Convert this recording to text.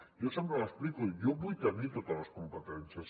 jo sempre ho explico jo vull tenir totes les competències